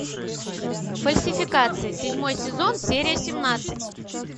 фальсификация седьмой сезон серия семнадцать